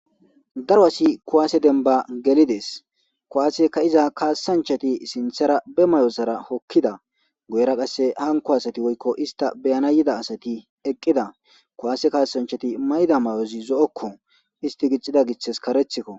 daro asi kuwaase denba gelides kuwaase ka'iza kaasanchati sinthara be mayozara hokkida goyra qasse hanko asati woykko ista beyana yida asati eqqida kuwaase kaasanchati mayda may7ozi zo7okko isti gixxida giththes karethikko